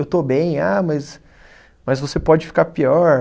Eu estou bem, ah mas, mas você pode ficar pior.